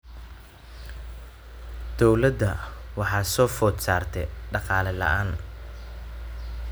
Dowladda waxaa soo food saartay dhaqaale la�aan.